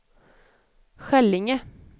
Skällinge